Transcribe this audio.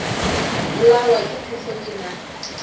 bolawa ke phefo ke na